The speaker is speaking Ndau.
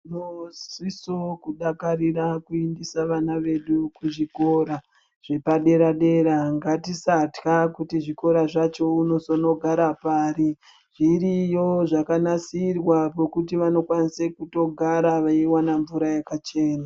Muziso kudakarire kuendesa vana vedu kuzvikora zvepadera dera , ngatisatya kuti zvikora zvacho unizondogara pari , zviriyo zvakanasirwa pekuti vanokwanose kutogara veiwana mvura yakachena .